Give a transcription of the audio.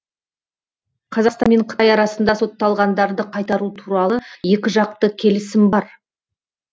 қазақстан мен қытай арасында сотталғандарды қайтару туралы екіжақты келісім бар